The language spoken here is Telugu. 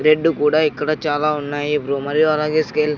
రెడ్ కూడా ఇక్కడ చాలా ఉన్నాయి అలాగే స్కేల్ .